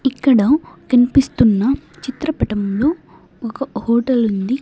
ఇక్కడ కన్పిస్తున్న చిత్రపటంలో ఒక హోటల్ ఉంది.